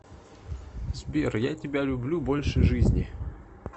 сбер я тебя люблю больше жизни